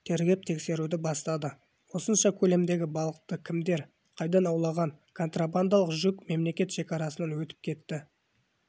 тергеп тексеруді бастады осынша көлемдегі балықты кімдер қайдан аулаған контрабандалық жүк мемлекет шекарасынан өтіп кетті